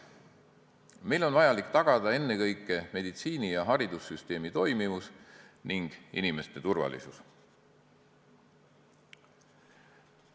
Meil on vaja tagada ennekõike meditsiini- ja haridussüsteemi toimivus ning inimeste turvalisus.